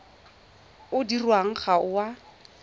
o dirwang ga o a